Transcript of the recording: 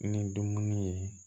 Ni dumuni ye